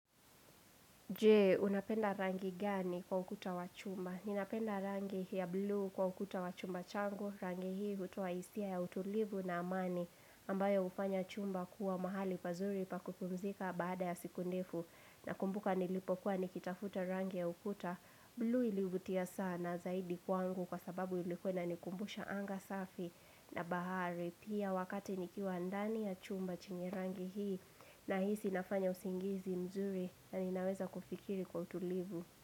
Je, unapenda rangi gani kwa ukuta wa chumba? Ninapenda rangi ya blue kwa ukuta wa chumba changu, rangi hii hutoa hisia ya utulivu na amani, ambayo hufanya chumba kuwa mahali pazuri pa kukumzika baada ya siku ndefu. Na kumbuka nilipokuwa nikitafuta rangi ya ukuta, blue ilivutia sana zaidi kwangu kwa sababu ilikuwa ina nikumbusha anga safi na bahari. Pia wakati nikiwa ndani ya chumba chenye rangi hii na hisi nafanya usingizi mzuri na ninaweza kufikiri kwa utulivu.